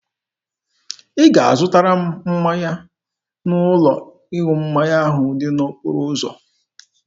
Ị ga-azụtara m mmanya n'ụlọ ịṅụ mmanya ahụ dị n'okporo ụzọ.